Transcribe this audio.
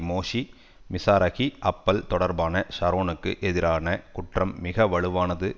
மோஷி Mizrahi Appel தொடர்பான ஷரோனுக்கு எதிரான குற்றம் மிக வலுவானது